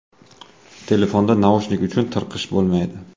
Telefonda naushnik uchun tirqish bo‘lmaydi.